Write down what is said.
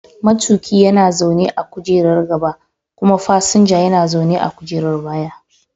Matuƙi yana zaune a kujerar gaba kuma fasinja yana zaune a kujerar baya.